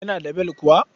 Yana da bel kuwa.